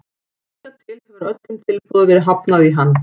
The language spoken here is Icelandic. Hingað til hefur öllum tilboðum verið hafnað í hann.